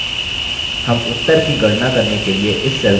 हम उत्तर की गणना करने के लिए इस cell का उपयोग करेंगे